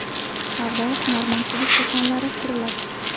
Savdo-hunarmandchilik do‘konlari quriladi.